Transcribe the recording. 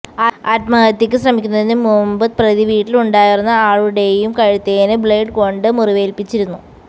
ആത്മഹത്യക്ക് ശ്രമിക്കുന്നതിന് മുമ്പ് പ്രതി വീട്ടിലുണ്ടായിരുന്ന ആളുടെയും കഴുത്തിന് ബ്ലേഡ് കൊണ്ട് മുറിവേൽപ്പിച്ചിരുന്നു